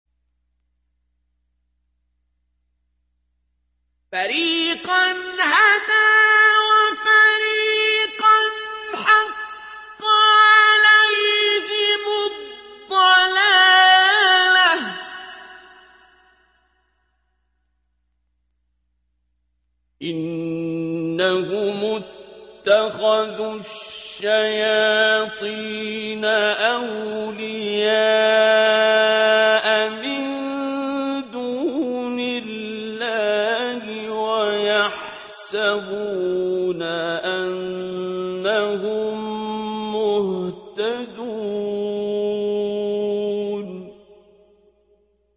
فَرِيقًا هَدَىٰ وَفَرِيقًا حَقَّ عَلَيْهِمُ الضَّلَالَةُ ۗ إِنَّهُمُ اتَّخَذُوا الشَّيَاطِينَ أَوْلِيَاءَ مِن دُونِ اللَّهِ وَيَحْسَبُونَ أَنَّهُم مُّهْتَدُونَ